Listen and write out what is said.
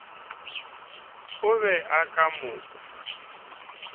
o be o ka mo